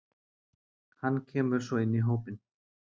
Hnn kemur svo inn í hópinn.